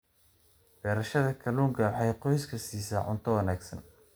Beerashada kalluunka waxay qoyska siisaa cunto wanaagsan.